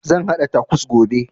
Zan haɗa takos gobe